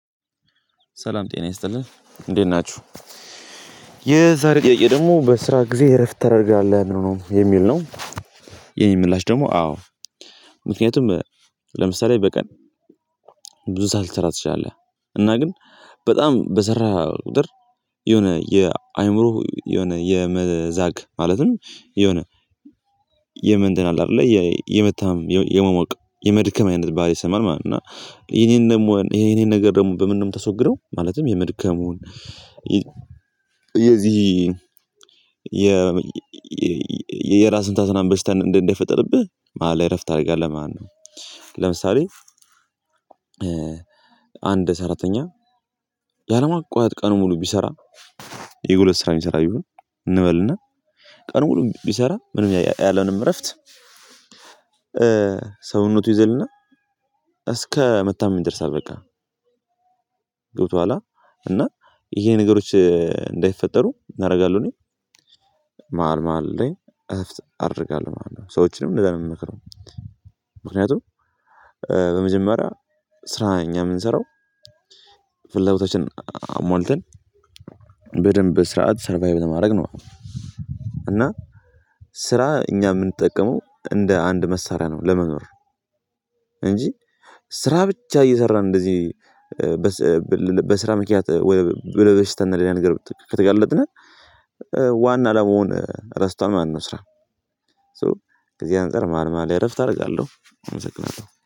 ሰላም ጤና ይስጥልን እንዴት ናችሁ? የዛሬ ጥያቄ ደግሞ በስራ ጊዜ እረፍት ተደርጋለህ? ነው የሚል ነው የኔ ምላሽ ደግሞ አዎ ምክንያቱም ለምሳሌ በቀን ብዙ ሰዓት ልትሰራ ትችላለህ። እና ግን በጣም በሰራህ ቁጥር የሆነ የአእምሮ የሆነ የመዛግ ማለትም የሆነ የመንተን አለ አይደለ የመታመም፣ የመሞቅ፣ የመድከም አይነት ባህሪ ይሰማሃል ማለት ነው። እና ይሄን ይሄን ደግሞ ይሄን ይሄን ነገር ደግሞ በምንድነው የምታስወግደው ማለትም የመድከሙን የዚህ የ የራስ ምታት ምናምን በሽታ እንዳይፈጠርብህ መሃል ላይ እረፍት ታደርጋለህ ማለት ነው። ለምሳሌ አንድ ሰራተኛ ያለማቋረጥ ቀኑን ሙሉ ቢሰራ የጉልበት ስራ የሚሰራ ቢሆን እንበልና ቀኑን ሙሉ ቢሰራ ምንም ያለምንም እረፍት ሰውነቱ ይዝልና እስከ መታመም ይደርሳል በቃ ገብቶሃል አ? እና ይሄ ነገሮች እንዳይፈጠሩ ምን አደርጋለሁ እኔ መሃል መሃል ላይ እረፍት አደርጋለሁ ማለት ነው። ሰዎችንም እንደዛ ነው የምመክረው። ምክንያቱም በመጀመሪያ ስራ እኛ የምንሰራው ፍላጎታችንን አሟልተን በደንብ ስርዓት ሰርቫይቭ ለማድረግ ነው። እና ስራ እኛ የምንጠቀመው እንደ አንድ መሳሪያ ነው ለመኖር። እንጂ ስራ ብቻ እየሰራን እንደዚህ በስራ ምክንያት ወደ በሽታና ሌላ ንገር ከተጋለጥን ዋና አላማውን ረስቷል ማለት ነው ስራ። ሶ ከዚህ አንፃር መሃል መሃል ላይ እረፍት አደርጋለሁ። አመሰግናለሁ።